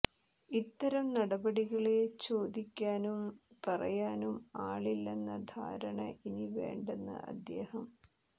ഇത്തരം നടപടികളെ ചോദിക്കാനും പറയാനും ആളില്ലെന്ന ധാരണ ഇനി വേണ്ടെന്ന് അദ്ദേഹം